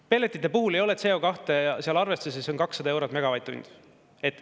Ei, pelletite puhul ei ole CO2 seal arvestuses, see on 200 eurot megavatt-tund.